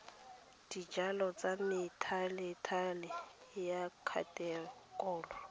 dijalo tsa methalethale ya khatekori